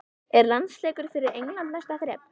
Er landsleikur fyrir England næsta þrep?